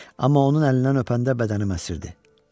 Amma onun əlindən öpəndə bədənim əsirdi.